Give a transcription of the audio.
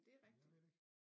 Jeg ved det ikke